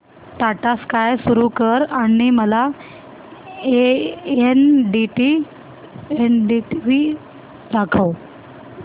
टाटा स्काय सुरू कर आणि मला एनडीटीव्ही दाखव